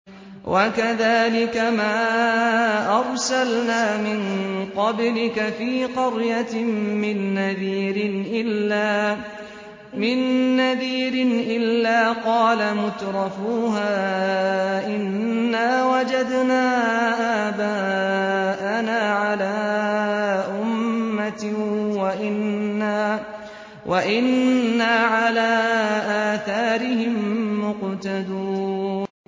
وَكَذَٰلِكَ مَا أَرْسَلْنَا مِن قَبْلِكَ فِي قَرْيَةٍ مِّن نَّذِيرٍ إِلَّا قَالَ مُتْرَفُوهَا إِنَّا وَجَدْنَا آبَاءَنَا عَلَىٰ أُمَّةٍ وَإِنَّا عَلَىٰ آثَارِهِم مُّقْتَدُونَ